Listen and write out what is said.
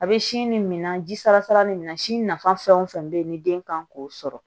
A bɛ sin nin mina ji salasala nin minɛ si nafa fɛn o fɛn be yen ni den kan k'o sɔrɔ